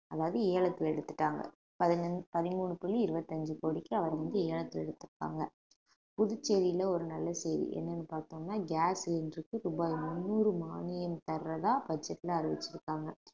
அதாவது ஏலத்துல எடுத்துட்டாங்க பதினஞ்~ பதிமூணு புள்ளி இருபத்தி அஞ்சு கோடிக்கு அவர் வந்து ஏலத்துல எடுத்திருக்காங்க புதுச்சேரியில ஒரு நல்ல செய்தி என்னன்னு பார்த்தோன gas cylinder க்கு ரூபாய் முந்நூறு மானியம் தர்றதா budget ல அறிவிச்சிருக்காங்க